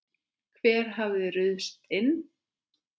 Hver hafði ruðst inn?